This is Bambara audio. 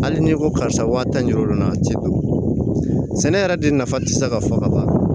Hali ni ko karisa waa tan ni duuru na cɛ do sɛnɛ yɛrɛ de nafa tɛ se ka fɔ ka ban